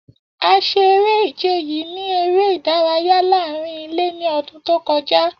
A ṣe ere-ije yii ni ere idaraya laarin ile ni ọdun to kọja.